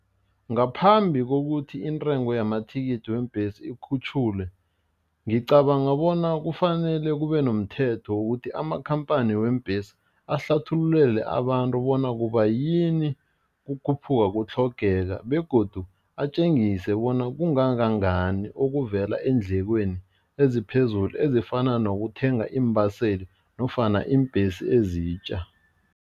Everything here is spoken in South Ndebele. Ngaphambi kokuthi intengo yamathikithi weembhesi ikhutjhulwe ngicabanga bona kufanele kube nomthetho wokuthi amakhamphani weembhesi ahlathululele abantu bona kubayini kukhuphuka kutlhogeka begodu atjengise bona kungangangani okuvela eendlekweni eziphezulu ezifana nokuthenga iimbaseli nofana iimbhesi ezitja.